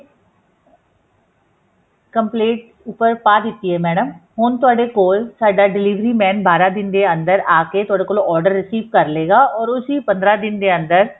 complaint ਉੱਪਰ ਪਾ ਦਿੱਤੀ ਹੈ ਮੈਡਮ ਹੁਣ ਤੁਹਾਡੇ ਕੋਲ ਸਾਡਾ delivery man ਬਾਰਾਂ ਦਿਨ ਦੇ ਅੰਦਰ ਆਕੇ ਤੁਹਾਡੇ ਕੋਲੋਂ order receive ਕਰ ਲਏਗਾ or ਉਸੀ ਪੰਦਰਾਂ ਦਿਨ ਦੇ ਅੰਦਰ